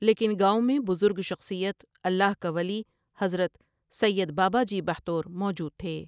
لیکن گاوں میں بذرگ شخصیت الله کا ولی حضرت سید باباجی بحتور موجود تھے۔